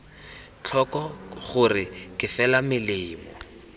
tlhoko gore ke fela melemo